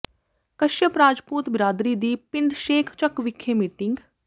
ਕਸ਼ਯਪ ਰਾਜਪੂਤ ਬਰਾਦਰੀ ਦੀ ਪਿੰਡ ਸ਼ੇਖ਼ ਚੱਕ ਵਿਖੇ ਮੀਟਿੰਗ